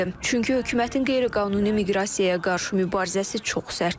Çünki hökumətin qeyri-qanuni miqrasiyaya qarşı mübarizəsi çox sərtdir.